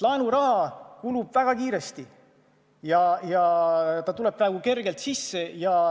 Laenuraha tuleb praegu kergelt sisse, aga see kulub väga kiiresti.